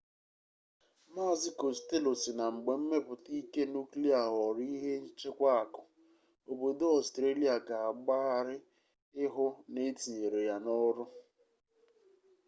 mazị kostello sị na mgbe mmepụta ike nuklia ghọorọ ihe nchekwa akụ obodo ọstrelia ga agbagharị ịhụ na etinyere ya n'ọrụ